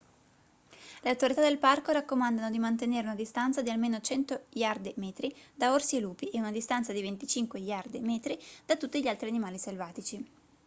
le autorità del parco raccomandano di mantenere una distanza di almeno 100 iarde/metri da orsi e lupi e una distanza di 25 iarde/metri da tutti gli altri animali selvatici